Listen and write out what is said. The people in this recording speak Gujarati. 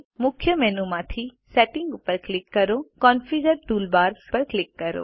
મુખ્ય મેનુ માંથી સેટિંગ્સ પર ક્લિક કરો અને કોન્ફિગર ટૂલબાર્સ પર ક્લિક કરો